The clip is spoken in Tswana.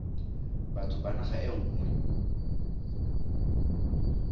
batho ba naga e nngwe